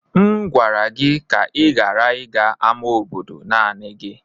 M gwara gị ka ị ghara ịga ama obodo naanị gi.